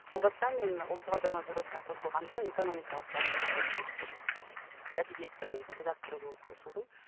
ол бастан мен ұлттық аударма бюросына қосылғанда экономикалық бағыттағы әдебиеттер әдебиеттің редакторы болып қосылдым